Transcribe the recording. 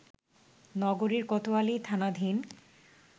নগরীর কোতোয়ালি থানাধীন